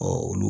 olu